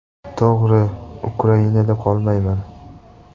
To‘g‘ri, Ukrainada qolmayman.